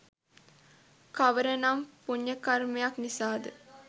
කවර නම් පුණ්‍යකර්මයක් නිසාද?